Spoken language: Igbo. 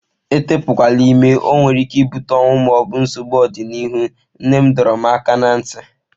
Etepukwala ime, ọ nwere ike ibute ọnwụ ma ọ bụ nsogbu n'ọdịnihu, nne m dọrọ m aka ná ntị.